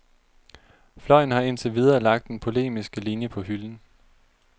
Fløjen har indtil videre lagt den polemiske linie på hylden.